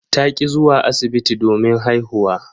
Ta ki zuwa asibiti domin haihuwa.